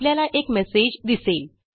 आपल्याला एक मेसेज दिसेल